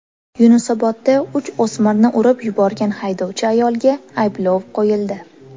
Yunusobodda uch o‘smirni urib yuborgan haydovchi ayolga ayblov qo‘yildi.